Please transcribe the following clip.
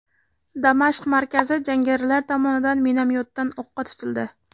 Damashq markazi jangarilar tomonidan minomyotdan o‘qqa tutildi.